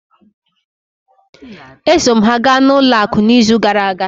E so m ha ga n'ụlọ akụ n'izu gara aga.